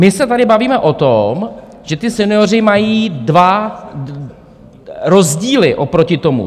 My se tady bavíme o tom, že ti senioři mají dva rozdíly oproti tomu.